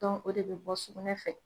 o de bɛ bɔ sugunɛ fɛ